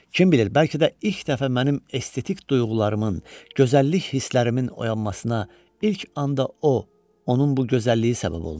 Kim bilir, bəlkə də ilk dəfə mənim estetik duyğularımın, gözəllik hislərimin oyanmasına ilk anda o, onun bu gözəlliyi səbəb olmuşdu.